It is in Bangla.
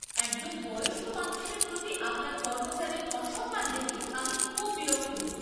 একজন বয়স্ক মানুষের প্রতি আপনার কর্মচারীর অসম্মান দেখে আমি খুব বিরক্ত।